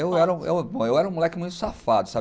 Eu era um eu era um moleque muito safado, sabe?